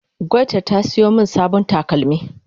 gwayta ta siyo min sabon takalmi